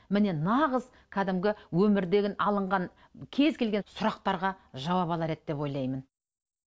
міне нағыз кәдімгі өмірден алынған кез келген сұрақтарға жауап алар еді деп ойлаймын